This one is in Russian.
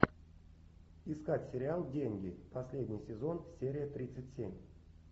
искать сериал деньги последний сезон серия тридцать семь